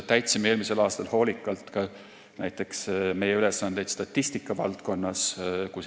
Täitsime eelmisel aastal hoolikalt ka näiteks meie ülesandeid statistikavaldkonnas.